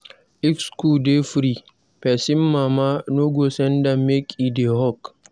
If school dey free, pesin mama no go send am make e dey hawk.